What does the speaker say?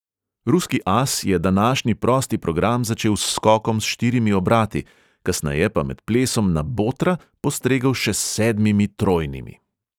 Ruski as je današnji prosti program začel s skokom s štirimi obrati, kasneje pa med plesom na botra postregel še s sedmimi trojnimi.